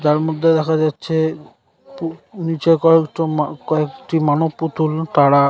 তার মধ্যে দেখা যাচ্ছে পু নিচে করা দুটো কয়েকটি মানব পুতুল তারা--